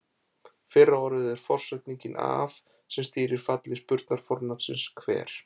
Fyrra orðið er forsetningin af sem stýrir falli spurnarfornafnsins hver.